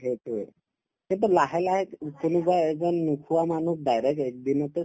সেইটোয়ে লাহে লাহে উব কোনোবা এজন নোখোৱা মানুহক direct একদিনতে